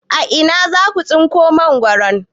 A ina za su tsinko mangwaro?